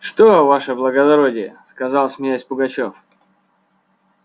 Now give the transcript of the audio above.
что ваше благородие сказал смеясь пугачёв